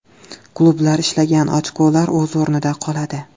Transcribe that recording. Klublar ishlagan ochkolar o‘z o‘rnida qoladi.